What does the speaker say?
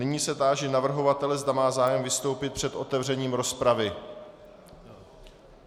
Nyní se táži navrhovatele, zda má zájem vystoupit před otevřením rozpravy.